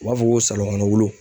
U b'a fɔ ko salɔnkɔnɔwulu